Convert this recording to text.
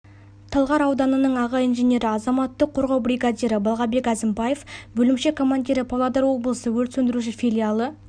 талғар ауданының аға инженері азаматтық қорғау бригадирі балғабек әзімбәев бөлімше командирі павлодар облысы өрт сөндіруші филиалы